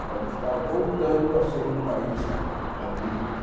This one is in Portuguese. O Brasil está voltando a ser um país agrícola.